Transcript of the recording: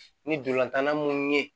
Ni dolantanna mun ye